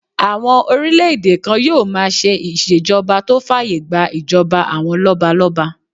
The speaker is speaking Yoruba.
Àwọn orílẹ̀-èdè kan yóò máa ṣe ìṣèjọba tó fàyè gbà ìjọba àwọn lọ́balọ́ba